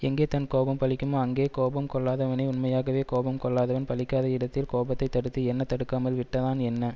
எங்கே தன் கோபம் பலிக்குமோ அங்கே கோபம் கொள்ளாதவனே உண்மையாகவே கோபம் கொள்ளாதவன் பலிக்காத இடத்தில் கோபத்தை தடுத்து என்ன தடுக்காமல் விட்டு தான் என்ன